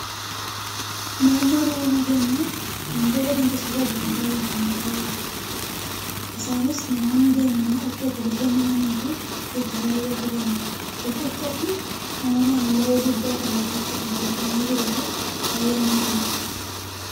Naannoon uumama keenyaa, waantota dinqisiisoo addaa addaatiin kan badhaadhedha. Isaanis namoonni deemanii akka itti bashannananifi ittis haara galfataniifi. Riqichi Kun uumamaan laga guddaa kana irratti kan tolfamee jiruu fi baayyee nama dinqudha.